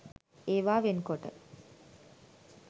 ඒවා වෙන් කොට